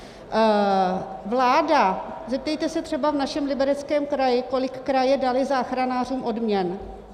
Vláda - zeptejte se třeba v našem Libereckém kraji, kolik kraje daly záchranářům odměn.